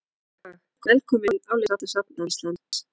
Verslunargatan í Reykjavík heitir líka Laugavegur.